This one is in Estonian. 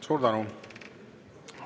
Suur tänu!